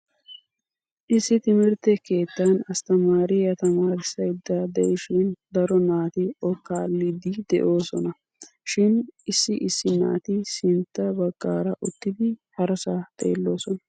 Issi timirtte keettan astamaariyaa tamaarissaydda de'ishin daro naati o kaalliiddi de'oosona shin issi issi naati sintta bagaara uttidi harasaa xeeloosona.